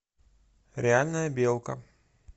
реальная белка